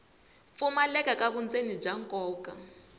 pfumaleka ka vundzeni bya nkoka